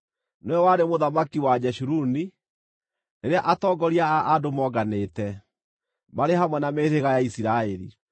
Nĩwe warĩ mũthamaki wa Jeshuruni, rĩrĩa atongoria a andũ moonganĩte, marĩ hamwe na mĩhĩrĩga ya Isiraeli.